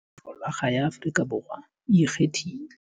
Folakga ya Afrika Borwa e ikgethile.